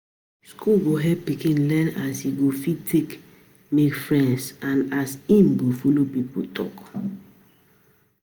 School go help pikin learn as e go fit take make friends and as em go follow people talk